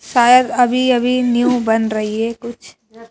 शायद अभी अभी न्यू बन रही है कुछ--